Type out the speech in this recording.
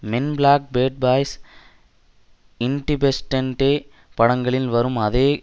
மென் Black Bad Boys Independence Day படங்களில் வரும் அதே